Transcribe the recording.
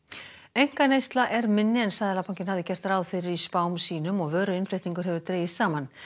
einkaneysla er minni en Seðlabankinn hafði gert ráð fyrir í spám sínum og vöruinnflutningur hefur dregist saman